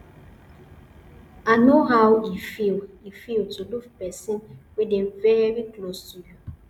i no how e feel e feel to lose person wey dey very close to you